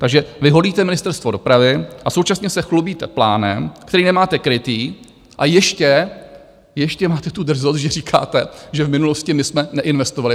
Takže vy holíte Ministerstvo dopravy a současně se chlubíte plánem, který nemáte krytý a ještě máte tu drzost, že říkáte, že v minulosti my jsme neinvestovali.